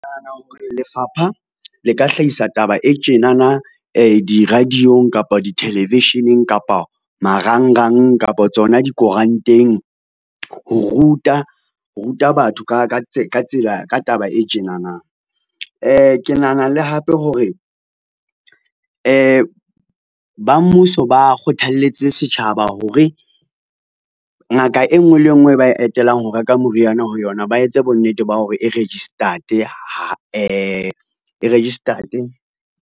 Lefapha le ka hlahisa taba e tjenana di-radio-ng, kapa di-television-eng, kapa marangrang, kapa tsona dikoranteng ho ruta batho ka taba e tjenana. Ke nahana le hape hore ba mmuso ba kgothalletse setjhaba hore ngaka e ngwe le e ngwe e ba etelang ho reka moriana ho yona, ba etse bonnete ba hore e registered, e registered.